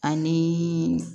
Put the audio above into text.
Ani